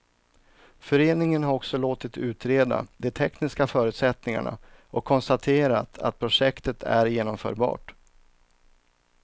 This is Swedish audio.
Föreningen har också låtit utreda de tekniska förutsättningarna och konstaterar att projektet är genomförbart.